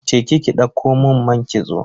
Je ki ki ɗauko mun man kitso.